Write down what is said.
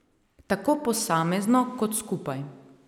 Tako posamezno kot skupaj.